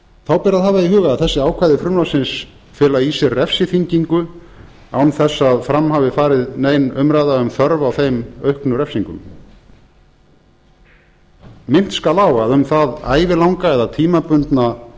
þá ber að hafa í huga að þessi ákvæði frumvarpsins fela í sér refsiþyngingu án þess að fram hafi farið nein umræða um þörf á þeim auknu refsingum minnt skal á að um það ævilanga eða tímabundna